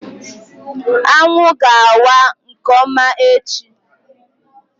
Anwụ ga-awa nke ọma echi